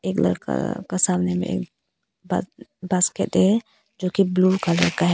Colour का सामने में एक ब बास्केट है जो कि ब्लू कलर का है।